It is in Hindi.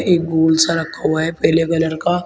एक गोल सा रखा हुआ है पीले कलर का।